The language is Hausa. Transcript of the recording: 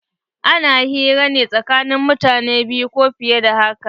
Ana hira ne tsakanin mutane biyu ko fiye da haka.